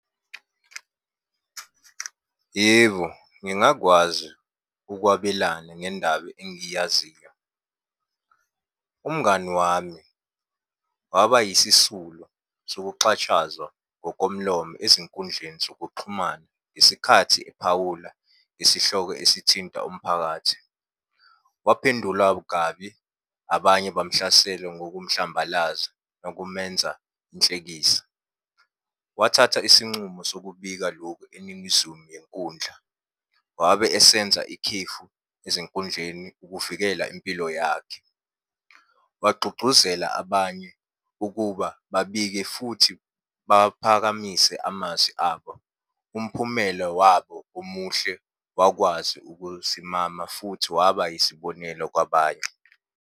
Yebo, ngingakwazi ukwabelana ngendaba engiyaziyo. Umngani wami waba yisisulu sokuxatshazwa ngomlomo ezinkundleni zokuxhumana ngesikhathi ephawula ngesihloko esithinta umphakathi. Waphendulwa kabi, abanye bamhlasela ngokumhlambalaza nokumenza inhlekisa. Wathatha isincumo sokubika lokhu eningizumu yenkundla, wabe esenza ikhefu ezinkundleni ukuvikela impilo yakhe. Wagxugxuzela abanye ukuba babike futhi, baphakamise amazwi abo. Umphumela wabo omuhle wakwazi ukusimama futhi waba yisibonelo kwabanye.